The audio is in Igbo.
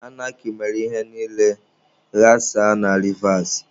Anarkị mere ihe niile ghasaa na Rivas.